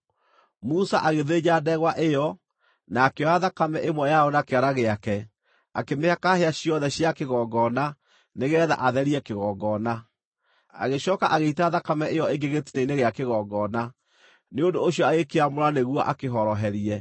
Musa agĩthĩnja ndegwa ĩyo, na akĩoya thakame ĩmwe yayo na kĩara gĩake, akĩmĩhaka hĩa ciothe cia kĩgongona nĩgeetha atherie kĩgongona. Agĩcooka agĩita thakame ĩyo ĩngĩ gĩtina-inĩ gĩa kĩgongona. Nĩ ũndũ ũcio agĩkĩamũra nĩguo akĩhoroherie.